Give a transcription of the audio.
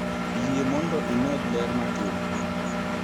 Yie mondo imedi ler matin